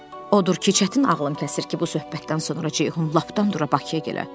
Odur ki, çətin ağlım kəsir ki, bu söhbətdən sonra Ceyhun lapdan dura Bakıya gələ.